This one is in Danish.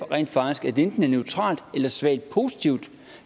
rent faktisk at det enten er neutralt eller svagt positivt